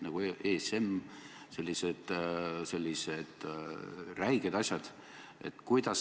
Nii et ma näen siin väga selgelt kasu Eestile.